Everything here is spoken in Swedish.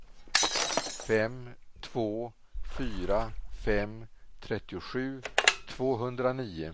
fem två fyra fem trettiosju tvåhundranio